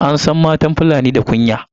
An san matan fulani da kunya